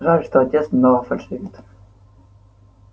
жаль что отец немного фальшивит